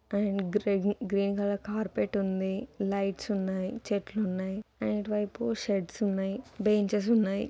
Green colour carpet ఉంది lights ఉన్నాయి .చెట్లు ఉన్నాయి. అండ్ ఇటు వైపు షెడ్స్ ఉన్నాయి.బెంచెస్ ఉన్నాయి.